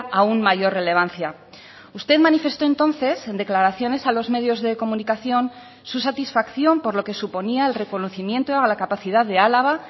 aun mayor relevancia usted manifestó entonces en declaraciones a los medios de comunicación su satisfacción por lo que suponía el reconocimiento a la capacidad de álava